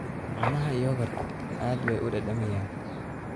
Caanaha yoogurtu aad bay u dhadhamiyaan.